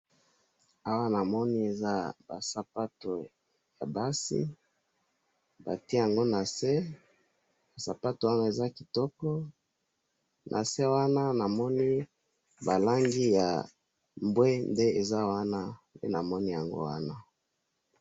Awa namoni eza basapato yabasi, batye yango nase, sapato wana eza kitoko, nase wana namoni balangi yambwende eza wana, nde namoni yango wana